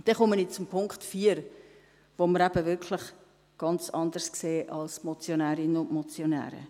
Ich komme zum Punkt 4, den wir eben wirklich ganz anders sehen als die Motionärinnen und Motionäre.